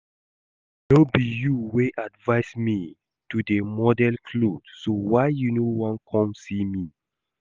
No be you wey advice me to dey model cloth so why you no wan come see me?